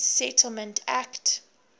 claims settlement act